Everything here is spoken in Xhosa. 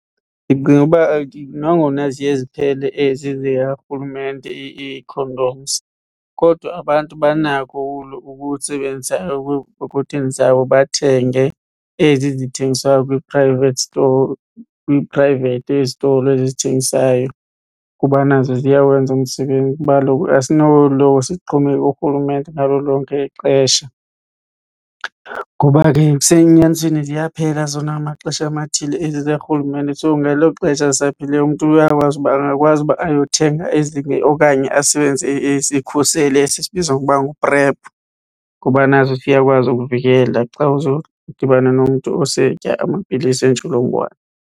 Ndicinga uba nangona ziye ziphele ezi zikarhulumente ii-condoms kodwa abantu banako ukusebenzisa okuthengisayo, bathenge ezi zithengiswayo kwi-private store kwi-private esitolo ezi zithengisayo kuba nazo ziyawenza umsebenzi. Kuba kaloku asinoloko sixhomekeke kurhulumente ngalo lonke ixesha, ngoba ke kusenyanisweni ziyaphela zona ngamaxesha amathile ezi zikarhulumente. So ngelo xesha zisaphelileyo umntu uyakwazi uba angakwazi uba ayothenga ezinye okanye asebenzise isikhuseli esi sibizwa ngokuba nguPrEP ngoba naso siyakwazi ukuvikela xa uzodibana nomntu osetya amapilisi entsholongwane.